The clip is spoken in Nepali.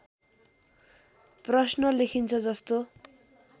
प्रश्‍न लेखिन्छ जस्तो